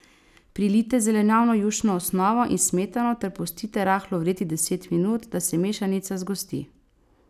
Prilijte zelenjavno jušno osnovo in smetano ter pustite rahlo vreti deset minut, da se mešanica zgosti.